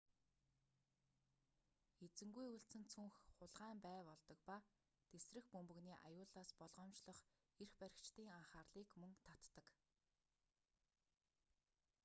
эзэнгүй үлдсэн цүнх хулгайн бай болдог ба тэсрэх бөмбөгний аюулаас болгоомжлох эрх баригчдын анхаарлыг мөн татдаг